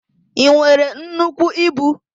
I nwere nnukwu ibu?